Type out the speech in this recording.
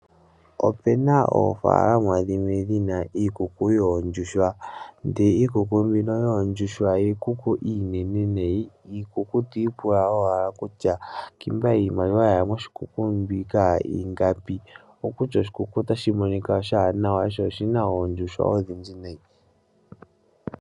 Opena oofalalama dhimwe dhina iikuku yoondjuhwa ndele iikuku mbino yoondjuhwa iikuku iinene nayi ,iikuku to ipula owala kutya ngiika iimaliwa yaya moshikuku muno ingapi. Okutya oshikuku otashi monika nawa sho oshina oondjuhwa odhindji nayi.